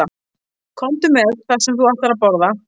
Komdu með það sem þú ætlar að borða.